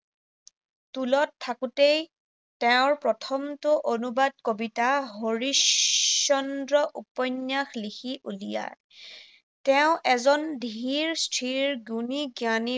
টোলত থাকোঁতেই তেওঁৰ প্ৰথমটো অনুবাদ কবিতা হৰিশ চন্দ্ৰ উপন্য়স লিখি উলিয়ায়। তেওঁ এজন ধীৰ স্থিৰ, গুণী জ্ঞানী